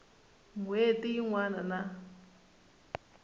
n hweti yin wana na